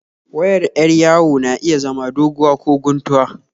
wayar 'yar yawo na iya zama doguwa ko kuntuwa